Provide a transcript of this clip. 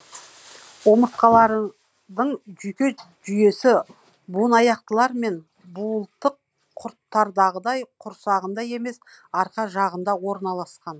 омыртқалардың жүйке жүйесі буынаяқтылар мен буылтық құрттардағыдай құрсағында емес арқа жағында орналасқан